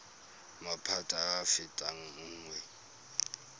maphata a a fetang nngwe